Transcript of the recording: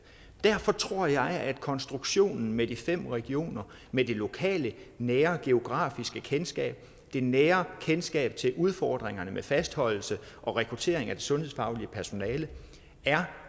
derfor tror jeg at konstruktionen med de fem regioner med det lokale nære geografiske kendskab det nære kendskab til udfordringerne med fastholdelse og rekruttering af det sundhedsfaglige personale er